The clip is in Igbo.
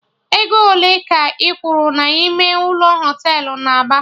Ego ole ka ị kwuru na ime ụlọ Họtelụ na Aba?